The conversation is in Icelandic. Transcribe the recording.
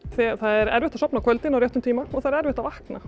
það er erfitt að sofna á kvöldin á réttum tíma og það er erfitt að vakna